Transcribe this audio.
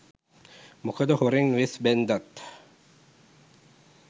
මොකද හොරෙන් වෙස් බැන්දත්